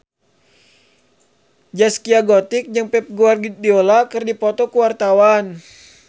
Zaskia Gotik jeung Pep Guardiola keur dipoto ku wartawan